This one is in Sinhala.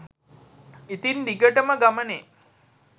ඉතින් දිගටම ගමනෙ